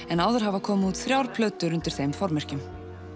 en áður hafa komið út þrjár plötur undir þeim formerkjum